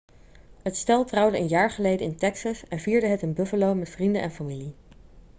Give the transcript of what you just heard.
het stel trouwde een jaar geleden in texas en vierde het in buffalo met vrienden en familie